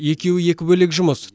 екеуі екі бөлек жұмыс